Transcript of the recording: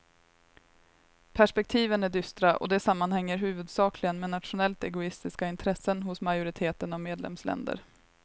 Perspektiven är dystra och det sammanhänger huvudsakligen med nationellt egoistiska intressen hos majoriteten av medlemsländer.